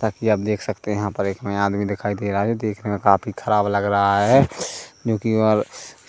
ताकी आप देख सकते है यहाँ पर एक में आदमी दिखाई दे रहा है जो देखने में काफी ख़राब लग रहा है क्युकि और